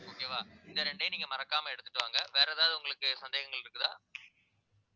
okay வா இந்த ரெண்டையும் நீங்க மறக்காம எடுத்துட்டு வாங்க வேற எதாவது உங்களுக்கு சந்தேகங்கள் இருக்குதா